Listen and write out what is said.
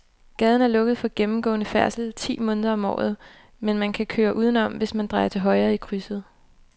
Gaden er lukket for gennemgående færdsel ti måneder om året, men man kan køre udenom, hvis man drejer til højre i krydset.